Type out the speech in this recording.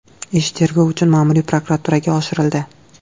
Ish tergov uchun ma’muriy prokuraturaga oshirildi.